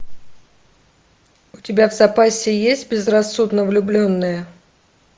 у тебя в запасе есть безрассудно влюбленные